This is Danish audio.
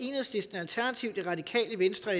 enhedslisten alternativet radikale venstre og